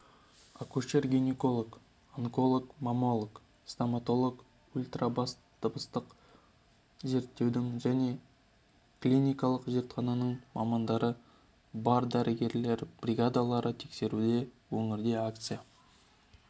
акушер-гинеколог онколог-маммолог стоматолог ультрадыбыстық зерттеудің және клиникалық зертхананың мамандары бар дәрігерлер бригадалары тексеруде өңірде акция